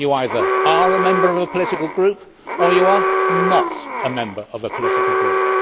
you either are a member of a political group, or you are not a member of a political group.